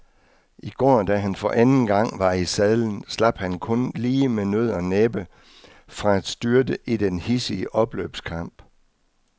I går da han for anden gang var i sadlen, slap han kun lige med nød og næppe fra at styrte i den hidsige opløbskamp.